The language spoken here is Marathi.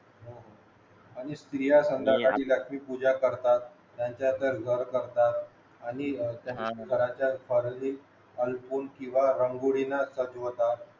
आणि स्त्रिया रात्री लक्ष्मी पूजा करतात त्यांचा करतात आणि हा त्यांचा अर्पून किंवा दिवा रांगोळीने दिवा रागोळीनं सजवतात